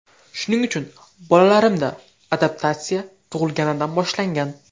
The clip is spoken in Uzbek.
Shuning uchun bolalarimda ‘adaptatsiya’ tug‘ilganidan boshlangan.